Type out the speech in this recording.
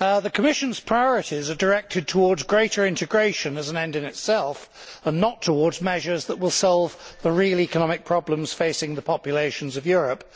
President, the Commission's priorities are directed towards greater integration as an end in itself and not towards measures that will solve the real economic problems facing the populations of Europe.